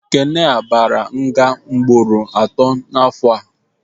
Ekene a baara nga mgboro atọ n'afọ a